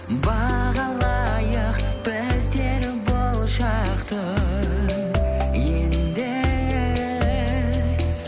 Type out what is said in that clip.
бағалайық біздер бұл шақты енді